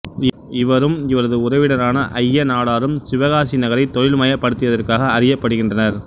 இவரும் இவரது உறவினரான அய்ய நாடாரும் சிவகாசி நகரை தொழில்மயப் படுத்தியதற்காக அறியப்படுகின்றனர்